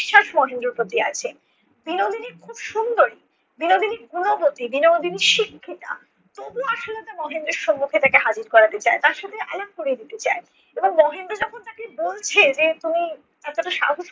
বিশ্বাস মহেন্দ্রের প্রতি আছে। বিনোদিনী খুব সুন্দরী, বিনোদিনী গুণবতী, বিনোদিনী শিক্ষিতা। তবুও আশালতা মহেন্দ্রের সম্মুখে তাকে হাজির করাতে চায়। তার সাথে আলাপ করিয়ে দিতে চায়। এবং মহেন্দ্র যখন তাকে বলছে যে তুমি এতটা সাহস